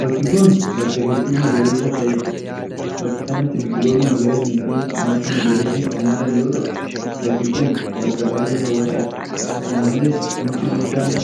Bakki kun, bakka hedduu magariisa'aa ta'ee dha. Bakka kanatti biqiloonni magariisni fi margi magariisni kan jiran yoo ta'u, bakki kun bakka baay'ee haw'ataa dha. Kana malees mukti guddaan